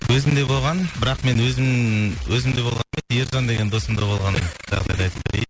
өзімде болған бірақ мен өзім өзімде болған ержан деген досымда болған жағдайды айтып берейін